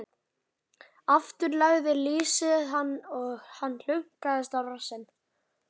Aftur lagði lýsið hann og hann hlunkaðist á rassinn.